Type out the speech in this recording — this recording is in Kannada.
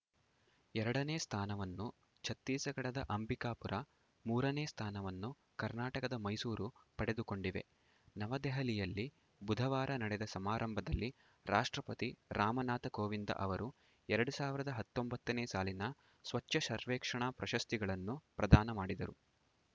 ಎರಡನೇ ಸ್ಥಾನವನ್ನು ಛತ್ತೀಸ್‌ಗಢದ ಅಂಬಿಕಾಪುರ ಮೂರನೇ ಸ್ಥಾನವನ್ನು ಕರ್ನಾಟಕದ ಮೈಸೂರು ಪಡೆದುಕೊಂಡಿವೆ ನವದೆಹಲಿಯಲ್ಲಿ ಬುಧವಾರ ನಡೆದ ಸಮಾರಂಭದಲ್ಲಿ ರಾಷ್ಟ್ರಪತಿ ರಾಮನಾಥ ಕೋವಿಂದ ಅವರು ಎರಡ್ ಸಾವಿರದ ಹತ್ತೊಂಬತ್ತನೇ ಸಾಲಿನ ಸ್ವಚ್ಛ ಸರ್ವೇಕ್ಷಣ ಪ್ರಶಸ್ತಿಗಳನ್ನು ಪ್ರದಾನ ಮಾಡಿದರು